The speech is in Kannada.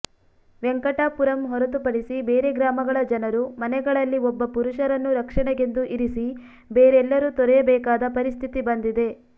ವೆಂಕಟಾಪುರಂ ಹೊರತುಪಡಿಸಿ ಬೇರೆ ಗ್ರಾಮಗಳ ಜನರು ಮನೆಗಳಲ್ಲಿ ಒಬ್ಬ ಪುರುಷರನ್ನು ರಕ್ಷಣೆಗೆಂದು ಇರಿಸಿ ಬೇರೆಲ್ಲರೂ ತೊರೆಯಬೇಕಾದ ಪರಿಸ್ಥಿತಿ ಬಂದಿದೆ